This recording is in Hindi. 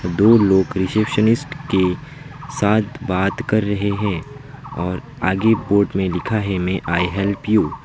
दो लोग रिसेप्शनिस्ट के साथ बात कर रहे हैं और आगे बोर्ड में लिखा है मे आई हेल्प यू ।